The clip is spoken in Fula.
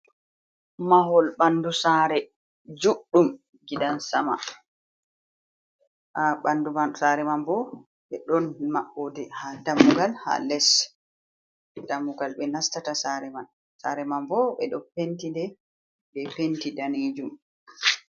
Mahol ɓandu saare, juɗɗum gidan sama, haa ɓandu man saare man ɓo be ɗon maɓɓooɗe, haa dammugal ha les dammugal be nastata saare man, saare man bo ɓe ɗo penti nɗe be penti daneejum.